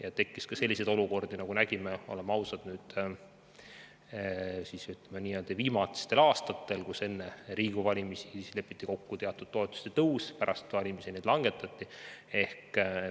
On tekkinud ka selliseid olukordi, oleme ausad, nagu oleme näinud viimastel aastatel, kus enne Riigikogu valimisi lepiti kokku teatud toetuste tõus, aga pärast valimisi neid summasid langetati.